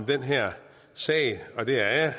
den her sag og det er